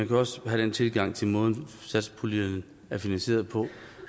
jo også have den tilgang til måden satspuljen er finansieret på